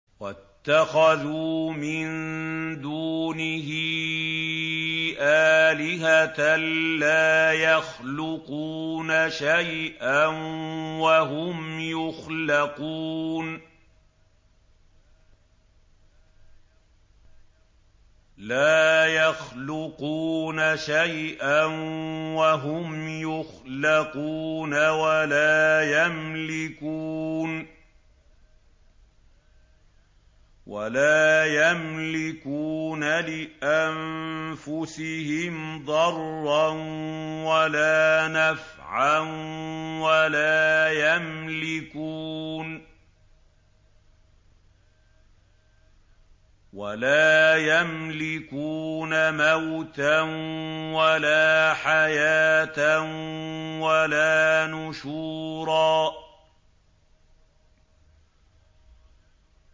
وَاتَّخَذُوا مِن دُونِهِ آلِهَةً لَّا يَخْلُقُونَ شَيْئًا وَهُمْ يُخْلَقُونَ وَلَا يَمْلِكُونَ لِأَنفُسِهِمْ ضَرًّا وَلَا نَفْعًا وَلَا يَمْلِكُونَ مَوْتًا وَلَا حَيَاةً وَلَا نُشُورًا